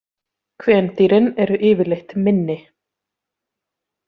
Kvendýrin eru yfirleitt minni.